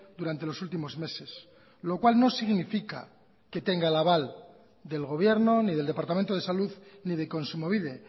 durante los últimos meses lo cual no significa que tenga el aval del gobierno ni del departamento de salud ni de kontsumobide